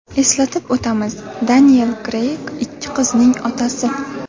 Eslatib o‘tamiz, Deniel Kreyg ikki qizning otasi.